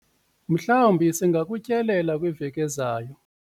mhlawumbi singakutyelela kwiveki ezayo